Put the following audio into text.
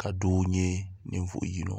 ka doo nyɛ ninvuɣu yino